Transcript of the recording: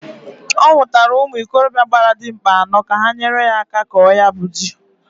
Ọ nwụtara ụmụ ikorobịa gbara dimkpa anọọ, ka ha nyere ya aka kọọ ya bu ji.